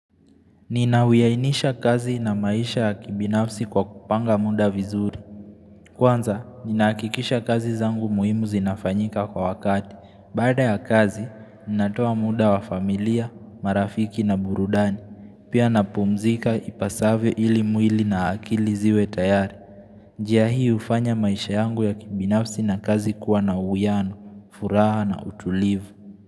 Nina huwiainisha kazi na maisha ya kibinafsi kwa kupanga muda vizuri. Kwanza, ninahakikisha kazi zangu muhimu zinafanyika kwa wakati. Baada ya kazi, ninatoa muda wa familia, marafiki na burudani. Pia napumzika ipasavyo ili mwili na akili ziwe tayari. Njia hii hufanya maisha yangu ya kibinafsi na kazi kuwa na uwiano, furaha na utulivu.